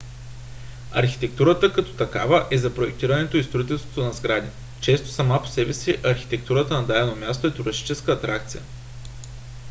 архитектурата като такава е за проектирането и строителството на сгради. често сама по себе си архитектурата на дадено място е туристическа атракция